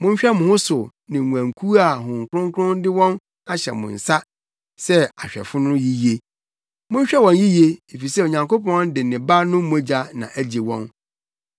Monhwɛ mo ho so ne nguankuw a Honhom Kronkron de wɔn ahyɛ mo nsa sɛ ahwɛfo no yiye. Monhwɛ wɔn yiye, efisɛ Onyankopɔn de ne Ba no mogya na agye wɔn.